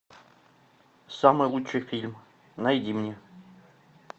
самый лучший фильм найди мне